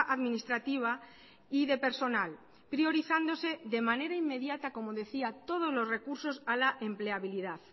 administrativa y de personal priorizándose de manera inmediata como decía todos los recursos a la empleabilidad